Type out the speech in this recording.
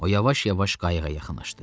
O yavaş-yavaş qayığa yaxınlaşdı.